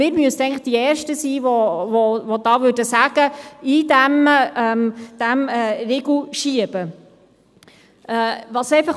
Wir müssten eigentlich die Ersten sein, die sagen: Eindämmen, dem einen Riegel vorschieben!